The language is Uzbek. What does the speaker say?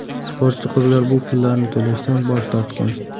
Sportchi qizlar bu pullarni to‘lashdan bosh tortgan.